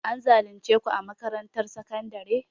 An zalunce ku a makarantar sakandare?